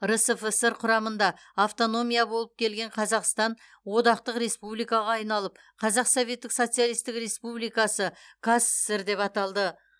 рсфср құрамында автономия болып келген қазақстан одақтық республикаға айналып қазақ советтік социалистік республикасы қаз сср деп аталды